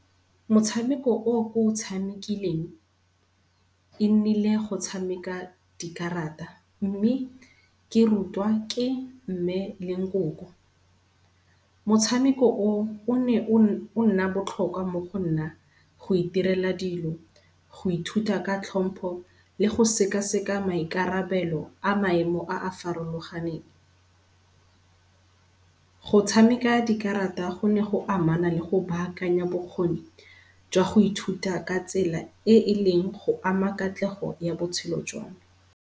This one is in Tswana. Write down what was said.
Motshameko o ko o tshamikeleng, e nnile go tshameka dikarata mme ke rutwa ke mme le nkoko. Motshameko o o ne o nna botlhokwa mo go nna goiterela dilo, go ithuta ka tlhompo le go sekaseka maikarabelo a maemo a a farologaneng. Go tshameka dikarata go ne go amana le go baakanya bokgoni jwa go ithuta ka tsela e e leng go ama katlego ya botshelo jwa me